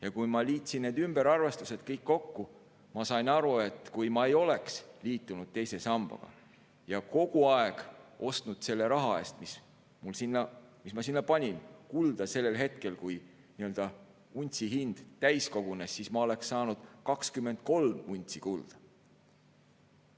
Ja kui ma liitsin need ümberarvestused kõik kokku, siis ma sain aru, et kui ma ei oleks liitunud teise sambaga ja oleksin selle raha eest, mis ma sinna panin, ostnud kogu aeg kulda sellel hetkel, kui untsi hind täis kogunes, siis ma oleksin saanud 23 untsi kulda.